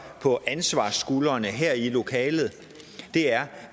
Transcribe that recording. på ansvarsskuldrene her i lokalet er